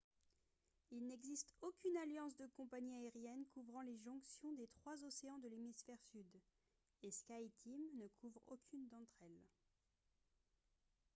il n’existe aucune alliance de compagnies aériennes couvrant les jonctions des trois océans de l’hémisphère sud et skyteam ne couvre aucune d’entre elles